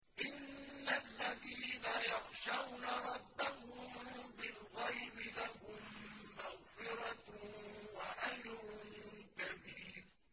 إِنَّ الَّذِينَ يَخْشَوْنَ رَبَّهُم بِالْغَيْبِ لَهُم مَّغْفِرَةٌ وَأَجْرٌ كَبِيرٌ